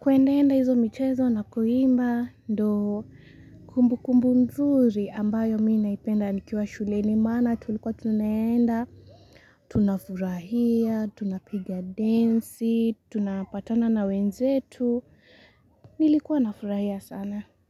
Kuendaenda hizo mchezo na kuimba ndo kumbu kumbu mzuri ambayo mina ipenda nikiwa shule ni mana tulikuwa tunaenda. Tunafurahia, tunapigia densi, tunapatana na wenzetu, nilikuwa nafurahia sana.